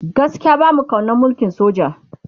gaskia bamu kaunan mulkin soja